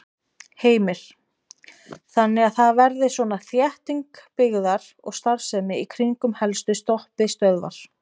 Heimir: Þannig að það verði svona þétting byggðar og starfsemi í kringum helstu stoppistöðvar?